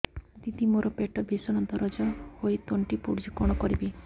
ଦିଦି ମୋର ପେଟ ଭୀଷଣ ଦରଜ ହୋଇ ତଣ୍ଟି ପୋଡୁଛି କଣ କରିବି